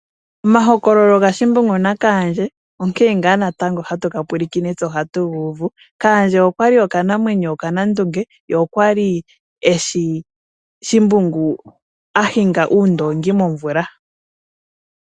Omahokololo gaShimbungu naKandje onkene ngaa natango hatu ga pulakene tse ohatu gu uvu. Kaandje okwa li okanammwenyo okanandunge ye okwa li eshi shimbungu a hinga uundongi momvula.